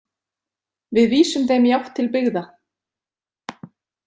Við vísum þeim í átt til byggða.